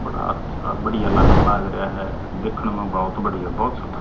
बड़ा अच्छा बढ़िया लागण लाग रया ह दिखण म बहुत बढ़िया बहुत सुथरा--